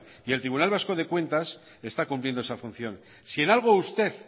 y el tribunal vasco de cuentas está cumpliendo esa función si en algo usted